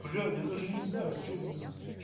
бля я даже не знаю что будет